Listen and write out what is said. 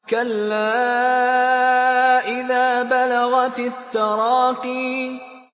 كَلَّا إِذَا بَلَغَتِ التَّرَاقِيَ